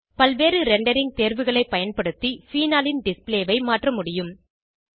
பல்வேறு ரெண்டரிங் தேர்வுகளை பயன்படுத்தி ஃபீனாலின் டிஸ்ப்ளே ஐ மாற்றமுடியும்